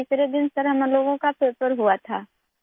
تیسرے دن سر ہمارا پیپر ہوا تھا